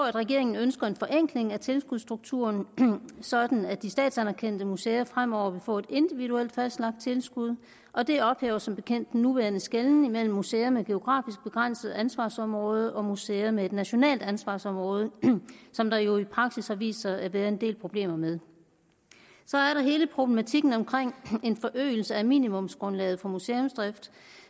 at regeringen ønsker en forenkling af tilskudsstrukturen sådan at de statsanerkendte museer fremover vil få et individuelt fastlagt tilskud og det ophæver som bekendt den nuværende skelnen mellem museer med et geografisk begrænset ansvarsområde og museer med et nationalt ansvarsområde som der jo i praksis har vist sig at være en del problemer med så er der hele problematikken omkring en forøgelse af minimumsgrundlaget for museumsdrift